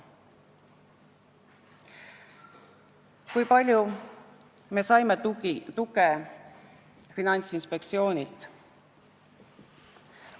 Kui palju me saime tuge Finantsinspektsioonilt?